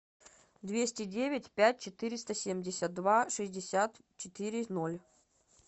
двести девять пять четыреста семьдесят два шестьдесят четыре ноль